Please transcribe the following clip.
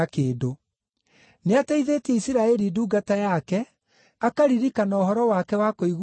Nĩateithĩtie Isiraeli ndungata yake, akaririkana ũhoro wake wa kũiguanĩra tha,